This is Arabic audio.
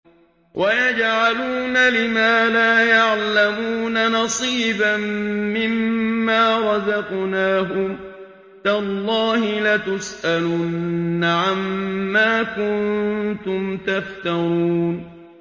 وَيَجْعَلُونَ لِمَا لَا يَعْلَمُونَ نَصِيبًا مِّمَّا رَزَقْنَاهُمْ ۗ تَاللَّهِ لَتُسْأَلُنَّ عَمَّا كُنتُمْ تَفْتَرُونَ